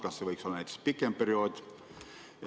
Kas see võiks olla näiteks pikem?